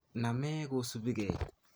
Name kosupi kei